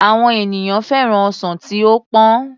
Àwọn ènìyàn féràn ọsàn tí ó pọ́n